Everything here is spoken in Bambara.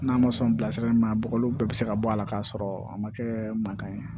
N'a ma sɔn bilasirali ma a bɔgɔliw bɛɛ bi se ka bɔ a la k'a sɔrɔ a ma kɛ mankan ye